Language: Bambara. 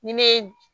Ni ne ye